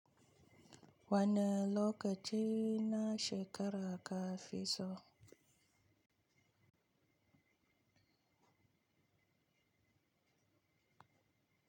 Wane lokaci na shekara ka fi so?